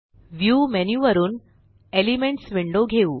view menu वरुन elements window घेऊ